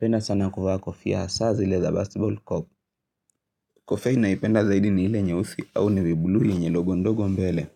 Napenda sana kuvaa kofia hasaa zile za basketball cup. Kofia nayopenda zaidi ni ile nyeusi au nevi bluu hii yenye logo ndogo mbele